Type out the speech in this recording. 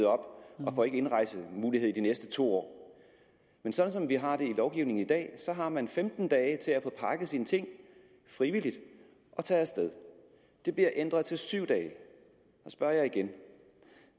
og ikke får indrejsemulighed i de næste to år men sådan som vi har det i lovgivningen i dag har man femten dage til at få pakket sine ting frivilligt og tage af sted det bliver ændret til syv dage så spørger jeg igen